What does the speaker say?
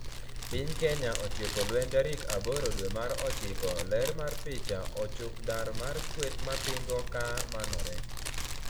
Piny kenya otieko lweny tarik aboro dwe mar ochiko ler mar picha ochuk dar mar kweth mapingo ka manore